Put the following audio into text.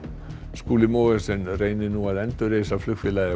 Skúli Mogensen reynir nú að endurreisa flugfélagið